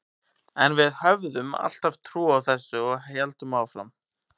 En við höfðum alltaf trú á þessu og héldum áfram.